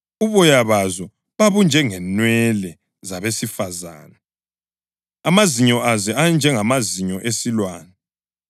Uboya bazo babunjengenwele zabesifazane, amazinyo azo enjengamazinyo esilwane.